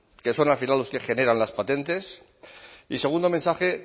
que son al final los que generan las patentes y segundo mensaje